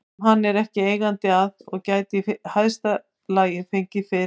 sem hann er ekki eigandi að og gæti í hæsta lagi fengið fyrir